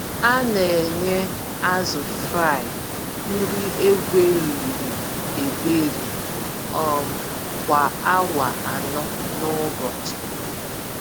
A-nenye azụ Fry nri egweriri-egweri um kwa awa anọ n'ụbọchị.